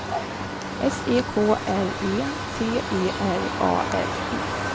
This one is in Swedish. S E K R E T E R A R E